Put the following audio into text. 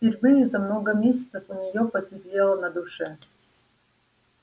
впервые за много месяцев у нее посветлело на душе